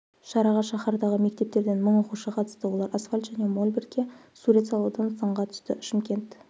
шараға шаһардағы мектептерден мың оқушы қатысты олар асфальт және мольбертке сурет салудан сынға түсті шымкент